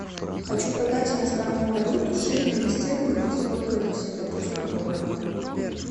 хочу продать иностранную валюту шиллинги стерлингов сколько это в сингапурских долларах